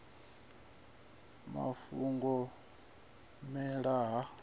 muvula na u mela ha